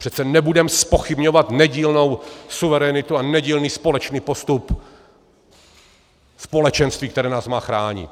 Přece nebudeme zpochybňovat nedílnou suverenitu a nedílný společný postup společenství, které nás má chránit.